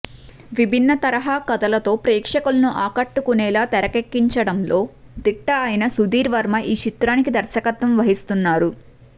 విభిన్న తరహా కథలతో ప్రేక్షకులను ఆకట్టుకునేలా తెరకెక్కించడంలో దిట్ట అయిన సుధీర్ వర్మ ఈ చిత్రానికి దర్శకత్వం వహిస్తున్నారు